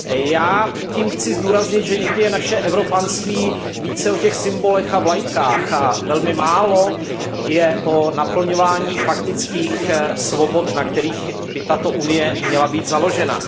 Já tím chci zdůraznit, že někdy je naše evropanství více o těch symbolech a vlajkách a velmi málo je o naplňování faktických svobod, na kterých by Unie měla být založena.